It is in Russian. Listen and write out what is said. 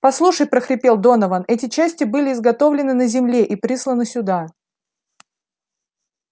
послушай прохрипел донован эти части были изготовлены на земле и присланы сюда